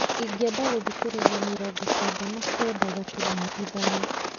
ingĩenda gũthikĩrĩria mĩrongo kenda na kenda gaturumo ithano